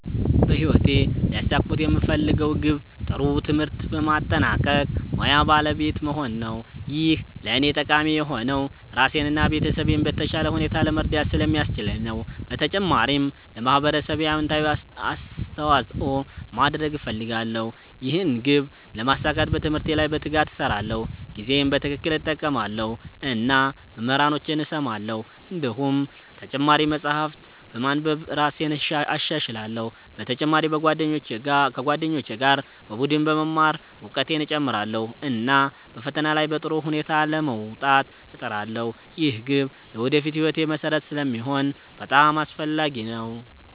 በህይወቴ ሊያሳኩት የምፈልገው ግብ ጥሩ ትምህርት በማጠናቀቅ ሙያ ባለቤት መሆን ነው። ይህ ለእኔ ጠቃሚ የሆነው ራሴን እና ቤተሰቤን በተሻለ ሁኔታ ለመርዳት ስለሚያስችለኝ ነው። በተጨማሪም ለማህበረሰቤ አዎንታዊ አስተዋፅኦ ማድረግ እፈልጋለሁ። ይህን ግብ ለማሳካት በትምህርቴ ላይ በትጋት እሰራለሁ፣ ጊዜዬን በትክክል እጠቀማለሁ እና መምህራኖቼን እሰማለሁ። እንዲሁም ተጨማሪ መጻሕፍት በማንበብ እራሴን እሻሻላለሁ። በተጨማሪ ከጓደኞቼ ጋር በቡድን በመማር እውቀቴን እጨምራለሁ፣ እና በፈተና ላይ በጥሩ ውጤት ለመውጣት እጥራለሁ። ይህ ግብ ለወደፊት ሕይወቴ መሠረት ስለሚሆን በጣም አስፈላጊ ነው።